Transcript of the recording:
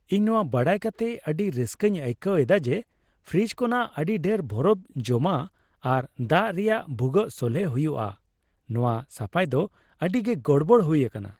ᱤᱧ ᱱᱚᱣᱟ ᱵᱟᱰᱟᱭ ᱠᱟᱛᱮᱜ ᱟᱹᱰᱤ ᱨᱟᱹᱥᱠᱟᱹᱧ ᱟᱹᱭᱠᱟᱹᱣ ᱮᱫᱟ ᱡᱮ ᱯᱷᱨᱤᱡᱽ ᱠᱷᱚᱱᱟᱜ ᱟᱹᱰᱤ ᱰᱷᱮᱨ ᱵᱚᱨᱚᱯᱷ ᱡᱚᱢᱟᱜ ᱟᱨ ᱫᱟᱜ ᱨᱮᱭᱟᱜ ᱵᱷᱩᱜᱟᱹᱜ ᱥᱚᱞᱦᱮ ᱦᱩᱭᱩᱜᱼᱟ ᱼᱱᱚᱶᱟ ᱥᱟᱯᱟᱭ ᱫᱚ ᱟᱹᱰᱤᱜᱮ ᱜᱚᱲᱵᱚᱲ ᱦᱩᱭ ᱟᱠᱟᱱᱟ ᱾